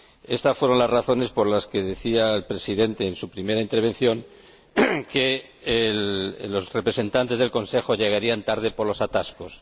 Estas fueron las razones por las que decía el Presidente, en su primera intervención, que los representantes del Consejo llegarían tarde por los atascos.